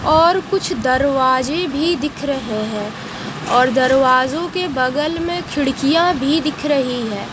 और कुछ दरवाजे भी दिख रहे हैं और दरवाजों के बगल में खिड़कियां भी दिख रही है।